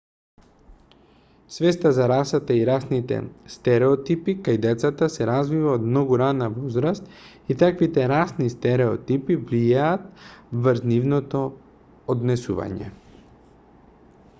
свеста за расата и расните стереотипи кај децата се развива од многу рана возраст и таквите расни стереотипи влијаат врз нивното однесување